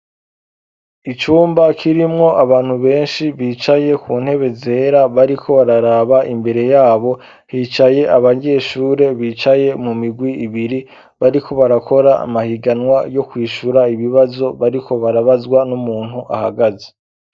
Icumba kirimwo abantu benshi bicaye ku ntebe zera bariko bararaba imbere yabo hicaye abaryeshure bicaye mu migwi ibiri bariko barakora amahiganwa yo kwishura ibibazo bariko barabazwa n'umuntu ahagaze.